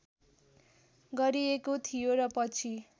गरिएको थियो र पछि